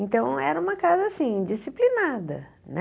Então, era uma casa assim, disciplinada, né?